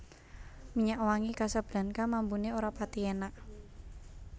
Minyak wangi Casablanca mambune ora pathi enak